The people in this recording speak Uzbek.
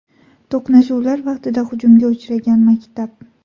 To‘qnashuvlar vaqtida hujumga uchragan maktab.